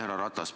Härra Ratas!